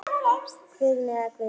Guðni eða Guðný.